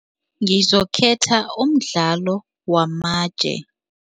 Ngizokhetha umdlalo wamatje.